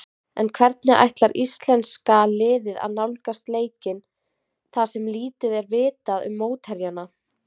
En hvernig ætlar íslenska liðið að nálgast leikinn þar sem lítið er vitað um mótherjana?